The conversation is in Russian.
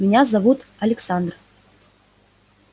меня зовут зовут александр